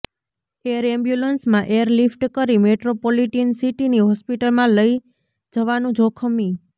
air એમ્બ્યુલન્સમાં airlift કરી મેટ્રોપોલિટીન સિટીની હોસ્પિટલમાં લઇ જવાનું જોખમી